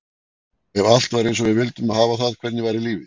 Ef allt væri eins og við vildum hafa það, hvernig væri lífið?